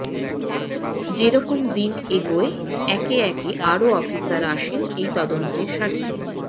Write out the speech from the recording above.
যেরকম দিন এগোয় একে একে আরও অফিসার আসেন এই তদন্তের স্বার্থে